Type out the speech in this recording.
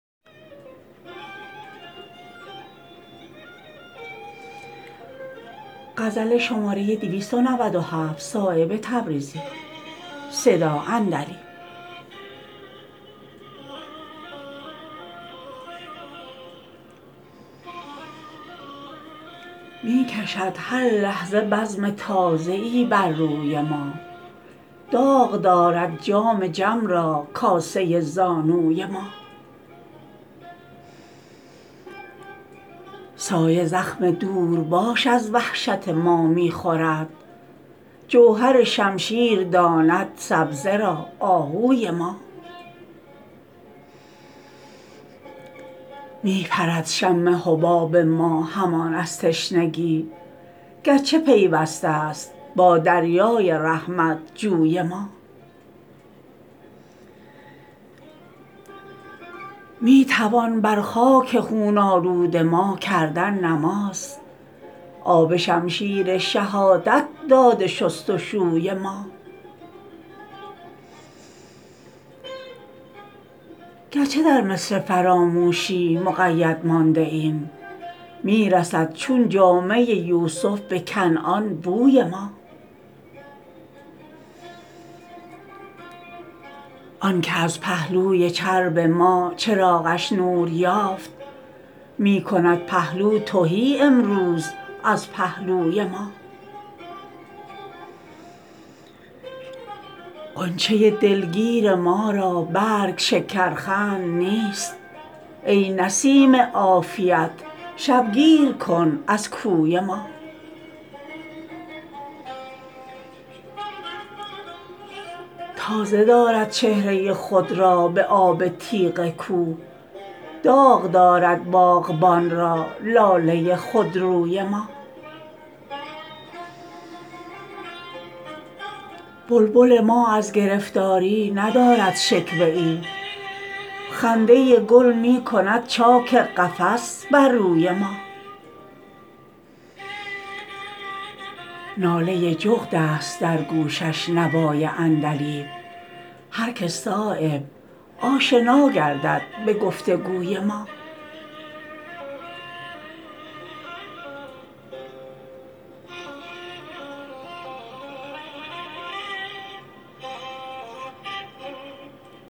می کشد هر لحظه بزم تازه ای بر روی ما داغ دارد جام جم را کاسه زانوی ما سایه زخم دورباش از وحشت ما می خورد جوهر شمشیر داند سبزه را آهوی ما می پرد شم حباب ما همان از تشنگی گرچه پیوسته است با دریای رحمت جوی ما می توان بر خاک خون آلود ما کردن نماز آب شمشیر شهادت داده شست و شوی ما گرچه در مصر فراموشی مقید مانده ایم می رسد چون جامه یوسف به کنعان بوی ما آن که از پهلوی چرب ما چراغش نور یافت می کند پهلو تهی امروز از پهلوی ما غنچه دلگیر ما را برگ شکرخند نیست ای نسیم عافیت شبگیر کن از کوی ما تازه دارد چهره خود را به آب تیغ کوه داغ دارد باغبان را لاله خودروی ما بلبل ما از گرفتاری ندارد شکوه ای خنده گل می کند چاک قفس بر روی ما ناله جغدست در گوشش نوای عندلیب هر که صایب آشنا گردد به گفت و گوی ما